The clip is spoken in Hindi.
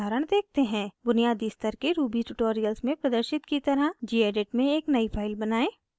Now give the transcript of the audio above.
बुनियादी स्तर के ruby ट्यूटोरियल्स में प्रदर्शित की तरह gedit में एक नयी फाइल बनाएं